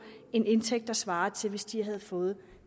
en indtægt der svarer til hvis de havde fået